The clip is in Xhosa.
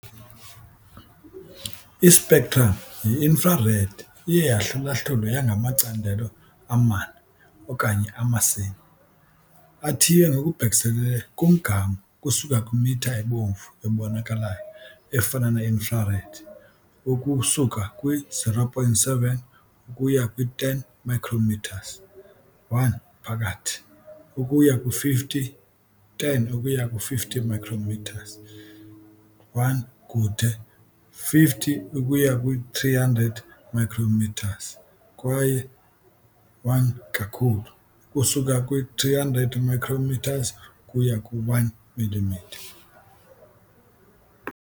I -spectrum ye-infrared iye yahlulahlulwe yangamacandelo amane, okanye amasimi, athiywe ngokubhekiselele "kumgama" ukusuka kwimitha ebomvu ebonakalayo, efana "ne-infrared", ukusuka kwi-0.7 ukuya kwi-10 micrometres, "1. phakathi", 10 ukuya ku-50 micrometres, "1. kude", 50 ukuba 300 micrometres kwaye "1. kakhulu", ukusuka kwi-300 "micrometre" ukuya kwi-1 millimetre.